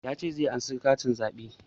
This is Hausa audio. Ya ce zai ansa katin zaɓe